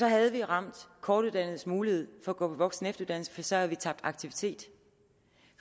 havde vi ramt kortuddannedes mulighed for at gå på voksenefteruddannelse for så havde vi tabt aktivitet